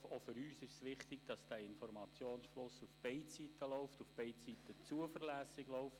Auch für uns ist es wichtig, dass dieser Informationsfluss auf beide Seiten läuft – auf beide Seiten zuverlässig läuft.